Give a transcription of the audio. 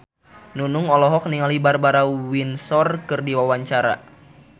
Nunung olohok ningali Barbara Windsor keur diwawancara